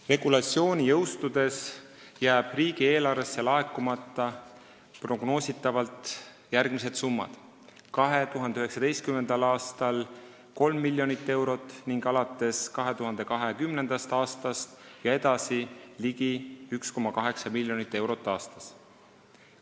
Regulatsiooni jõustudes jäävad riigieelarvesse prognoositavalt laekumata järgmised summad: 2019. aastal 3 miljonit eurot ning alates 2020. aastast ligi 1,8 miljonit eurot aastas.